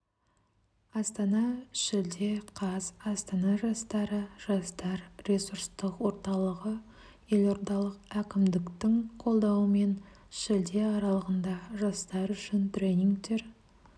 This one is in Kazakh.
астана шілде қаз астана жастары жастар ресурстық орталығы елордалық әкімдіктің қолдауымен шілде аралығында жастар үшін тренингтер